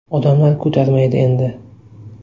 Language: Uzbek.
Odamlar ko‘tarmaydi endi.